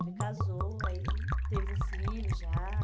Ele casou, aí teve um filho já.